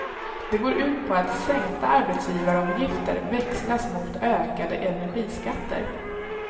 Det går ut på att sänkta arbetsgivaravgifter växlas mot ökade energiskatter.